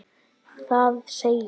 Það segir: